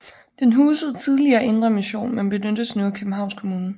Den husede tidligere Indre Mission men benyttes nu af Københavns Kommune